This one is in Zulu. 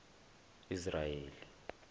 israyeli